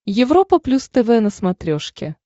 европа плюс тв на смотрешке